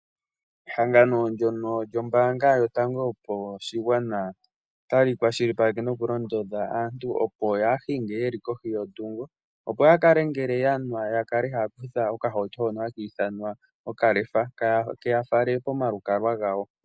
Ehangano ndono lyomambaanga yotango yopashigwana otali kwashilipaleke nokulondodha aantu opo yaahinge yeli kohi yondhungo opo ya kale ngele yanwa ya kale haya kutha okahauto hono haka ithanwa okalefa ke ya fale komalukalwa gawo.